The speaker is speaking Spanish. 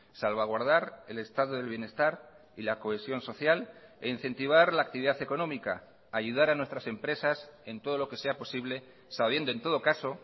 salvaguardar el estado del bienestar y la cohesión social e incentivar la actividad económica ayudar a nuestras empresas en todo lo que sea posible sabiendo en todo caso